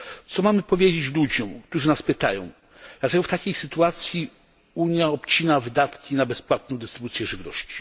Co mamy powiedzieć ludziom, którzy nas pytają dlaczego w takiej sytuacji Unia obcina wydatki na bezpłatną dystrybucję żywności?